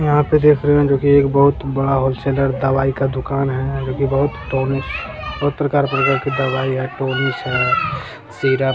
यहाँ पे देख रहे हैं जो की एक बहुत बड़ा हॉल सेलर दवाई का दुकान है जो की बहुत टॉनिक बहुत प्रकार की दवाई है टॉनिक है सिरप है।